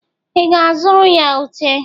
I ga-azụrụ ya Ute?